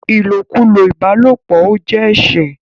ilokulo ìbálòpọ̀ ọ jé ẹṣẹ.